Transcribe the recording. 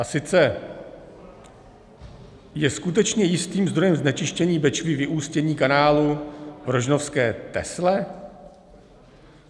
A sice je skutečně jistým zdrojem znečištění Bečvy vyústění kanálu v rožnovské Tesle?